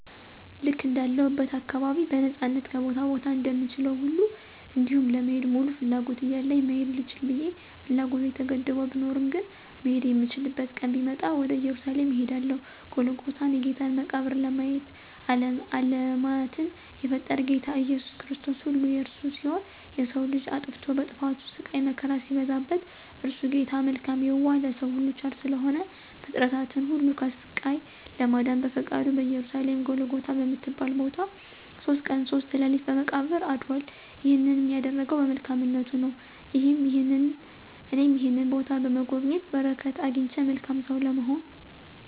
ልክ እንዳለሁበት አካባቢ በነፃነት ከቦታ ቦታ እንደምችለዉ ሁሉ እንዲሁም ለመሄድ ሙሉ ፍላጎት እያለኝ መሄድ ልችል ብየ ፍላጎቴ ተገድቦ ብኖርም ግን "መሄድ የምችልበት ቀን ቢመጣ" ወደ እየሩሳሌም እሄዳለሁ"ጎልጎታን የጌታን መቃብር "ለማየት። አለማትን የፈጠረ "ጌታ ኢየሱስ ክርስቶስ"ሁሉ የእርሱ ሲሆን የሰዉ ልጅ አጥፍቶ በጥፋቱ ስቃይ መከራ ሲበዛበት <እርሱ ጌታ መልካም የዋህ ለሰዉ ሁሉ ቸር ስለሆነ>ፍጥረትን ሁሉ ከስቃይ ለማዳን በፈቃዱ በኢየሩሳሌም ጎልጎታ በምትባል ቦታ"ሶስት ቀን ሶስት ሌሊት በመቃብር "አድራል። ይህንን ያደረገዉ በመልካምነቱ ነዉ። እኔም ይህንን ቦታ በመጎብኘት በረከት አግኝቼ መልካም ሰዉ ለመሆን።